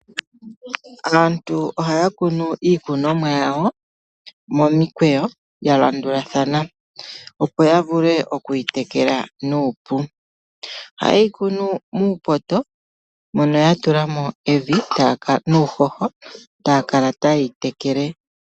Aantu ohaya kunu iikunomwa yawo momikweyo ya landulathana, opo ya vule oku yi tekela nuupu. Oha ye yi kunu muupoto mono ya tula mo evi nuuhoho etaya kala ta ye yi tekele.